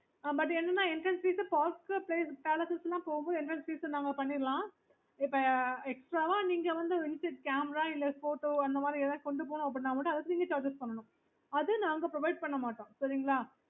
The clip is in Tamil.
okay